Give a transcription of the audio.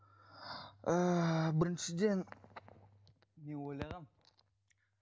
ііі біріншіден мен ойлағанмын